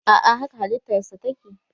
a'a haka halittarsa take